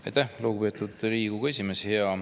Aitäh, lugupeetud Riigikogu esimees!